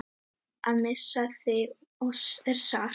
Að missa þig er sárt.